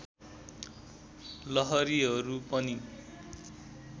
लहरीहरू पनि